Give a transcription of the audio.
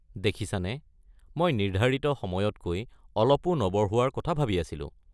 দেখিছানে, মই নিৰ্ধাৰিত সময়তকৈ অলপো নবঢ়োৱাৰ কথা ভাবি আছিলো।